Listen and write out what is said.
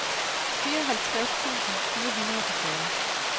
fireoghalvtreds tusind fire hundrede og fyrre